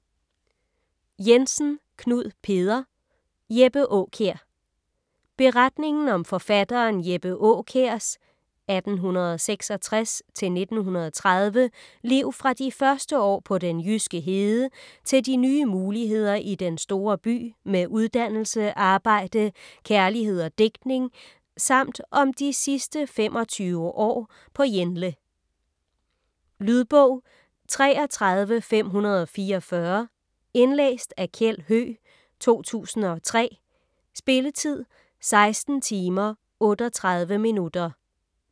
Jensen, Knud Peder: Jeppe Aakjær Beretningen om forfatteren Jeppe Aakjærs (1866-1930) liv fra de første år på den jyske hede til de nye muligheder i den store by med uddannelse, arbejde, kærlighed og digtning samt om de sidste 25 år på Jenle. Lydbog 33544 Indlæst af Kjeld Høegh, 2003. Spilletid: 16 timer, 38 minutter.